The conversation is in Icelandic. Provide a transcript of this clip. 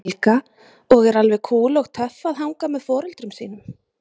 Helga: Og er alveg kúl og töff að hanga með foreldrum sínum?